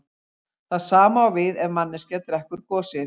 Það sama á við ef manneskja drekkur gosið.